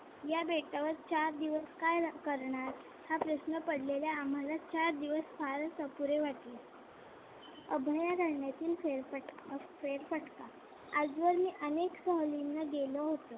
या बेटावर चार दिवस काय करणार? हा प्रश्न पडलेला आम्हाला चार दिवस फारच अपुरे वाटले. अभयारण्यातील फेरफटका फेरफटका आजवर मी अनेक सहलींना गेलो होतो.